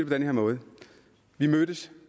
den her måde vi mødtes